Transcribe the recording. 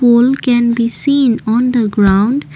pole can be seen on the ground.